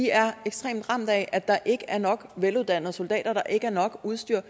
er ekstremt ramt af at der ikke er nok veluddannede soldater at der ikke er nok udstyr